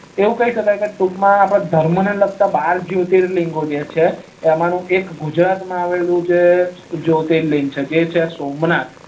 એવું કઈ સકાય છે આપડે ટુક માં ધર્મને લગતે બાર જ્યોતીલીગો છે એમાં નું એક ગુજરાત માં આવેલું જ્યોતીલીગ છે જે છે સોમનાથ